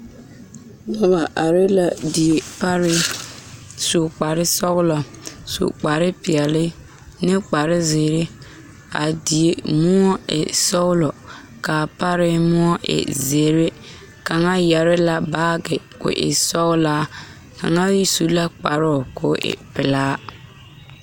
Noba are la die pare su kpare sɔglɔ su kparepeɛle ne kparezeere k,a die moɔ e sɔglɔ k,a pare moɔ e zeere kaŋa yɛre la baage k,o e sɔglaa kaŋsu la kparoo k,o e pelaa.